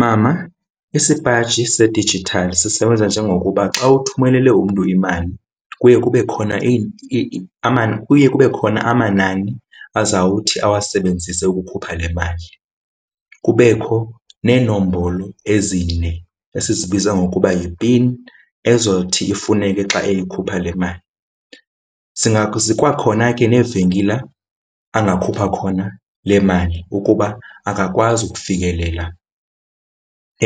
Mama, isipaji sedijithali sisebenza njengokuba xa uthumelele umntu imali kuye kube khona kuye kube khona amanani azawuthi awasebenzise ukukhupha le mali. Kubekho neenombolo ezine esiyibiza ngokuba yi-pin ezothi ifuneke xa eyikhupha le mali. Zikwakhona ke neevenkile angakhupha khona le mali ukuba akakwazi ukufikelela